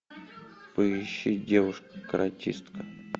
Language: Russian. поищи девушка каратистка